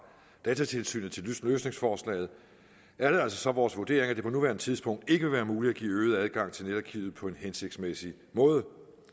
datatilsynet til løsningsforslaget er det altså så vores vurdering at det på nuværende tidspunkt ikke vil være muligt at give øget adgang til netarkivet på en hensigtsmæssig måde